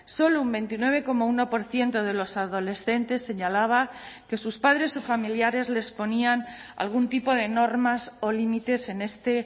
solo un veintinueve coma uno por ciento de los adolescentes señalaba que sus padres o familiares les ponían algún tipo de normas o límites en este